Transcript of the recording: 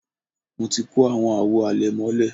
mo ti kó àwọn àwo àlẹ̀mọ́lẹ̀